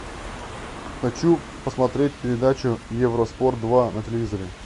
хочу посмотреть передачу евроспорт два на телевизоре